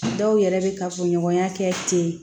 Dɔw yɛrɛ bɛ kafoɲɔgɔnya kɛ ten